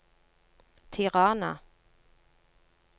Tirana